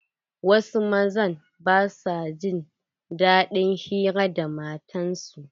Wasu mazan ba sua jin daɗin hira da matan su.